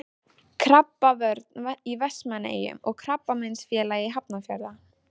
Krabbavörn í Vestmannaeyjum og Krabbameinsfélag Hafnarfjarðar.